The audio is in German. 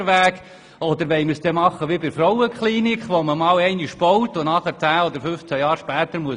Oder wollen wir so vorgehen wie bei der Frauenklinik, die man nach 15 Jahren neu bauen muss?